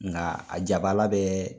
Nka a jabaala bɛ